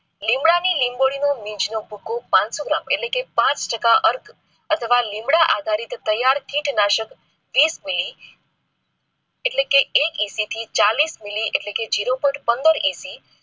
લીમડાની લીંબોળીનું બીજ નું ભુખુ પાનસો gram એટલે કે પાંચ ટકા અર્થ અથવા લીંબડા આધારિત ટાયર કિનાશક ને એટલે કે એક EC થી ચાલીસ મીલી zero point પંદર EC